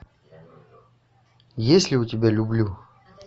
есть ли у тебя люблю